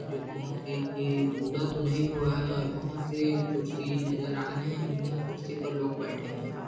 जो बहोत ही बूढ़ा तो नहीं हुआ हैऔर बहोत सी कुर्सी नज़र आ रही है उन्हीं कुर्सी पे लोग बेठे हुए है।